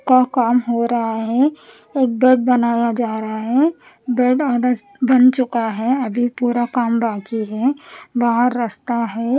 का काम हो रहा है एक बेड बनाया जा रहा है बेड और बन चुका है अभी पूरा काम बाकी है बाहर रास्ताहै।